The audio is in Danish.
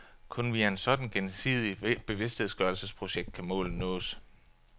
Kun via en sådan gensidig bevidstgørelsesproces kan målet nås.